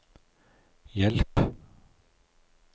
hjelp